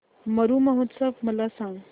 मरु महोत्सव मला सांग